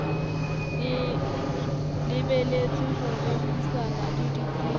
lebelletswe ho rerisana le ditsebi